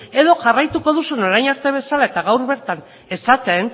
edo jarraituko duzun orain arte bezala eta gaur bertan esaten